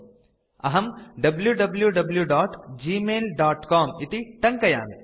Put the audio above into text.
अहं wwwgmailcom इति टङ्कयामि